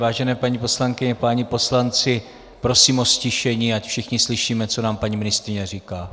Vážené paní poslankyně, páni poslanci, prosím o ztišení, ať všichni slyšíme, co nám paní ministryně říká.